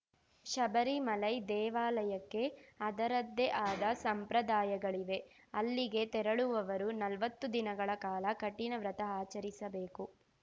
ಶಬರಿಮಲೈ ದೇವಾಲಯಕ್ಕೆ ಅದರದ್ದೇ ಅದ ಸಂಪ್ರದಾಯಗಳಿವೆ ಅಲ್ಲಿಗೆ ತೆರಳುವವರು ನಲ್ವತ್ತು ದಿನಗಳ ಕಾಲ ಕಠಿಣ ವ್ರತ ಅಚರಿಸಬೇಕು